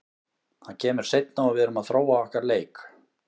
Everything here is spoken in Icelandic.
Það kemur seinna og við erum að þróa okkar leik.